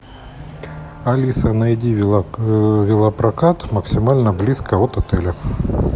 алиса найди велопрокат максимально близко от отеля